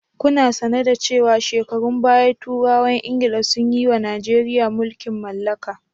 Kuna sane da cewa shekarun baya turawan Ingila sun yiwa Najeriya mulkin mallaka.